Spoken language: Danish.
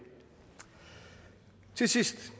til sidst